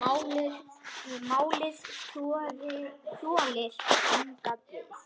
Málið þolir enga bið.